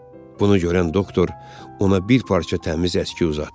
Bunu görən doktor ona bir parça təmiz əski uzatdı.